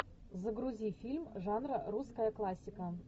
загрузи фильм жанра русская классика